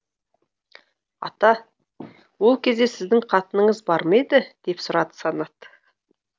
ата ол кезде сіздің қатыныңыз бар ма еді деп сұрады санат